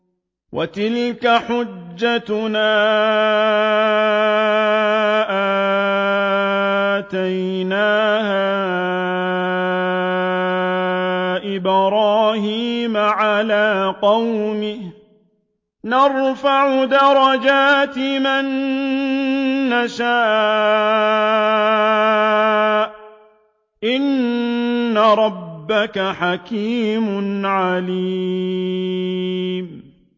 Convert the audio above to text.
وَتِلْكَ حُجَّتُنَا آتَيْنَاهَا إِبْرَاهِيمَ عَلَىٰ قَوْمِهِ ۚ نَرْفَعُ دَرَجَاتٍ مَّن نَّشَاءُ ۗ إِنَّ رَبَّكَ حَكِيمٌ عَلِيمٌ